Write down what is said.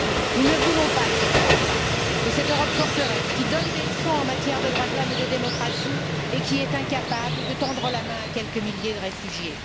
Nous ne voulons pas de cette Europe là, de cette Europe forteresse, qui donne des leçons en matière de droits de l'homme et de démocratie et qui est incapable de tendre la main à quelques milliers de réfugiés.